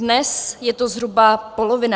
Dnes je to zhruba polovina.